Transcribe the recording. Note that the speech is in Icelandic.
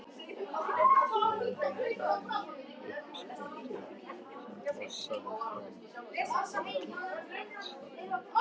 Fjallshlíðin endaði með uppsprettu sem fossaði fram af bergstalli.